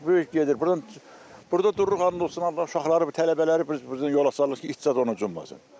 Uşaq böyük gedir, burdan burda dururuq, həmd olsun Allah, uşaqları, tələbələri biz burdan yola salırıq ki, it zad onu yemesin.